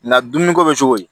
Nka dumuniko bɛ cogo di